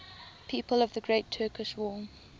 people of the great turkish war